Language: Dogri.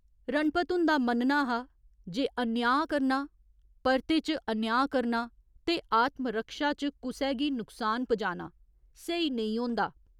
रणपत हुंदा मन्नना हा जे अन्यांऽ करना, परते च अन्यांऽ करना ते आत्मरक्षा च कुसै गी नुकसान पजाना स्हेई नेईं होंदा।